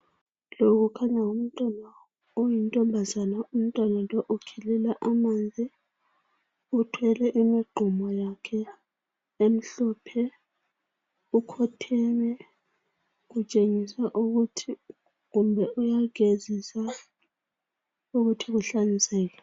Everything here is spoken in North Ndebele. Lo kukhanya ngumntwana oyintombazana . Umntwana lo ukhelela amanzi uthwele imigqomo yakhe emhlophe . Ukhotheme kutshengisa ukuthi kumbe uyagezisa ukuthi kuhlanzeke .